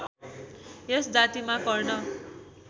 यस जातिमा कर्ण